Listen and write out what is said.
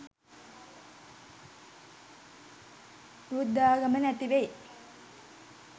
බුද්ධාගම නැතිවෙයි.